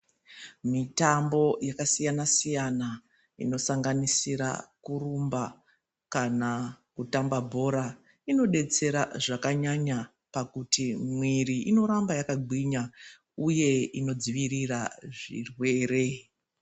Mitambo yaka siyana siyana ino sanganisira kurumba kana kutamba bhora ino detsera zvaka nyanya pakuti mwiri ino ramba yaka gwinya uye ino dzivirira zvirwere.